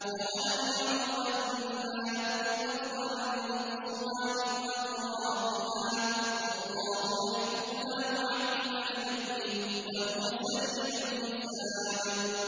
أَوَلَمْ يَرَوْا أَنَّا نَأْتِي الْأَرْضَ نَنقُصُهَا مِنْ أَطْرَافِهَا ۚ وَاللَّهُ يَحْكُمُ لَا مُعَقِّبَ لِحُكْمِهِ ۚ وَهُوَ سَرِيعُ الْحِسَابِ